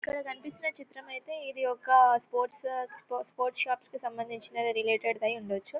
ఇక్కడ కనిపిస్తున్న చిత్రం ఐతే ఇది ఒక స్పోర్ట్స్ స్పో-స్పోర్ట్స్ షాప్ కి సంబందించిన రిలేటెడ్ ధై ఉండొచ్చు